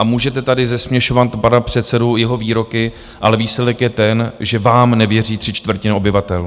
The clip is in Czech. A můžete tady zesměšňovat pana předsedu, jeho výroky, ale výsledek je ten, že vám nevěří tři čtvrtiny obyvatel.